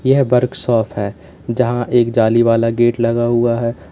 यह वर्कशॉप है जहां एक जाली वाला गेट लगा हुआ है।